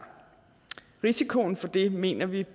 risikoen for det mener vi